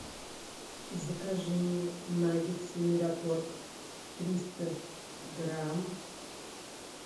закажи мне наггетсы мираторг триста грамм